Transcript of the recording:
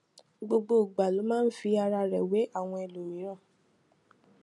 gbogbo ìgbà ló máa ń fi ara rè wé àwọn ẹlòmíràn